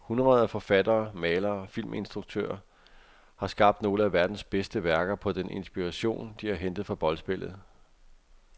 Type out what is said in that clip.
Hundreder af forfattere, malere og filminstruktører har skabt nogle af deres bedste værker på den inspiration, de har hentet fra boldspillet.